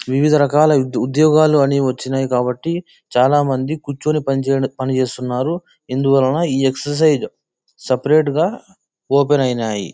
వివిధ రకాల ఉంద్యోగాలు అని వచ్చినాయి కాబట్టి చాల మంది కూర్చొని పని చే పని చేస్తున్నారు. ఇదువలన్ ఏ ఎక్ససిర్సిస్ సేప్రతే గ ఓపెన్ అయినాయి.